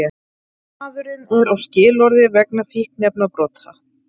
Maðurinn er á skilorði vegna fíkniefnabrota